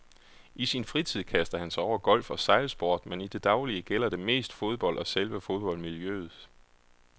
I sin fritid kaster han sig over golf og sejlsport, men i det daglige gælder det mest fodbold og selve fodboldmiljøet.